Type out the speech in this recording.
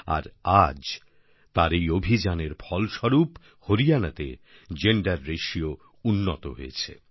আর আজ তার এই অভিযানের ফল স্বরূপ হরিয়ানাতে জেন্ডার রাতিও উন্নত হয়েছে